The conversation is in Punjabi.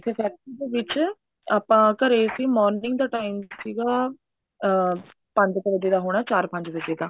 factory ਦੇ ਵਿੱਚ ਆਪਾਂ ਘਰੇ ਸੀ morning ਦਾ time ਸੀਗਾ ਅਮ ਪੰਜ ਕ ਵਜੇ ਦਾ ਹੋਣਾ ਚਾਰ ਪੰਜ ਵਜੇ ਦਾ